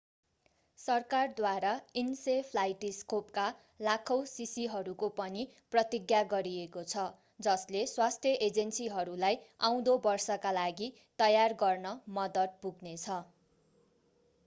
सरकारद्वारा इन्सेफ्लाइटिस खोपका लाखौं शीशीहरूको पनि प्रतिज्ञा गरिएको छ जसले स्वास्थ्य एजेन्सीहरूलाई आउँदो वर्षका लागि तयारी गर्न मद्दत पुग्नेछ